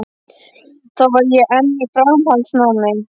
Þá var ég enn í framhaldsnámi.